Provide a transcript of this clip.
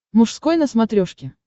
мужской на смотрешке